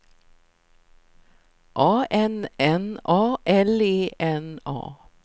A N N A L E N A